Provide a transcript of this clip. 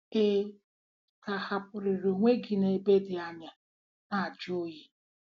Ị ga-ahapụrịrị onwe gị n'ebe dị anya na-ajụ oyi?